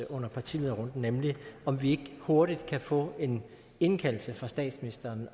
under partilederrunden nemlig om vi ikke hurtigt kan få en indkaldelse fra statsministeren